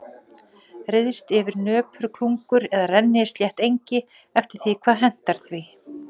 Ryðst yfir nöpur klungur eða rennislétt engi eftir því hvað hentar því.